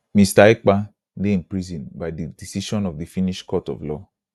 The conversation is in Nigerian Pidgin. mr ekpa dey imprisoned by di decision of the finnish court of law